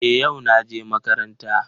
Eh, yau naje makaranta.